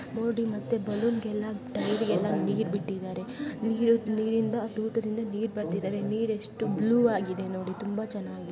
ನೋಡಿ ಮತ್ತೆ ಬಲೂನ್ ಗೆಲ್ಲಾ ಟೈರ್ ಗೆಲ್ಲಾ ನೀರ್ ಬಿಟ್ಟಿದ್ದಾರೆ. ನೀರು. ನೀರಿಂದ ತೂತತಿಂದ ನೀರ್ ಬರ್ತಿದಾವೆ ನೀರ್ ಎಷ್ಟು ಬ್ಲೂ ಆಗಿದೆ ನೋಡಿ ತುಂಬಾ ಚೆನ್ನಾಗಿದೆ.